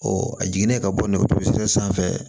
a jiginnen ka bɔ nɛgɛso sanfɛ